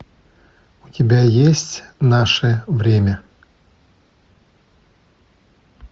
у тебя есть наше время